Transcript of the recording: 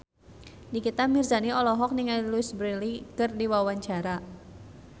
Nikita Mirzani olohok ningali Louise Brealey keur diwawancara